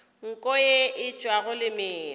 nko ye e tšwago lemina